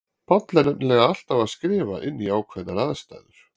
Páll er nefnilega alltaf að skrifa inn í ákveðnar aðstæður.